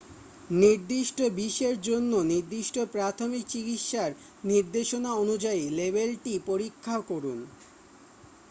নির্দিষ্ট বিষের জন্য নির্দিষ্ট প্রাথমিক চিকিৎসার নির্দেশনা অনুযায়ী লেবেলটি পরীক্ষা করুন